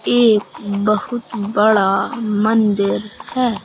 एक बहुत बड़ा मंदिर है।